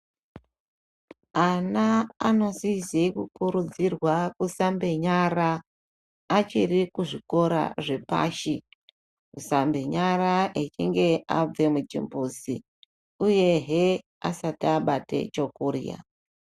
Ana anosize kukurudzzirwa kusambe nyara achiri kuzvikora zvepashi. Kusambe nyara echinge abve muchimbuzi uyehe asati abate chokurya.